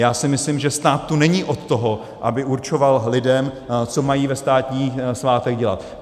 Já si myslím, že stát tu není od toho, aby určoval lidem, co mají ve státní svátek dělat.